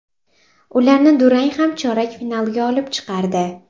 Ularni durang ham chorak finalga olib chiqardi.